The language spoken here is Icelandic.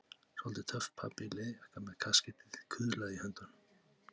Soldið töff pabbi í leðurjakka með kaskeitið kuðlað í höndunum.